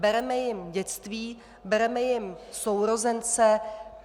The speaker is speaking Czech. Bere jim dětství, bereme jim sourozence.